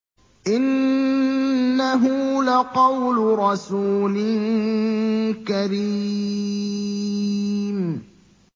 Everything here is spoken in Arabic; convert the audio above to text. إِنَّهُ لَقَوْلُ رَسُولٍ كَرِيمٍ